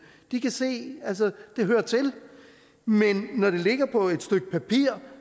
de kan se at det hører til men når det ligger på et stykke papir